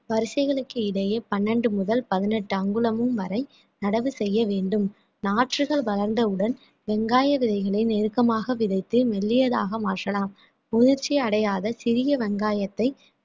வரிசைகளுக்கு இடையே பன்னெண்டு முதல் பதினெட்டு அங்குலமும் வரை நடவு செய்ய வேண்டும் நாற்றுகள் வளர்ந்தவுடன் வெங்காய விதைகளை நெருக்கமாக விதைத்து மெல்லியதாக மாற்றலாம் முதிற்சி அடையாத சிறிய வெங்காயத்தை